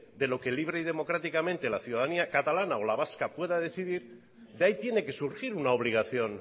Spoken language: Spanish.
de lo que libre y democráticamente la ciudadanía catalana o la vasca pueda decidir de ahí tiene que surgir una obligación